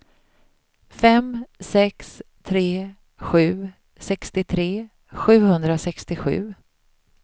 fem sex tre sju sextiotre sjuhundrasextiosju